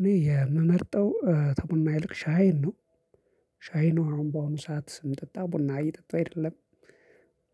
እኔ የምመርጠው ተቡና ይልቅ ሻይን ነው። ሻይን ነው አሁን በአሁኑ ሰዓት ምጠጣው ቡና እየጠጣው አይደለም።